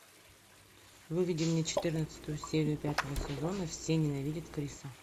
выведи мне четырнадцатую серию пятого сезона все ненавидят криса